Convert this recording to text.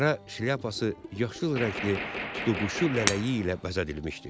Qara şlyapası yaşıl rəngli tutuquşu lələyi ilə bəzədilmişdi.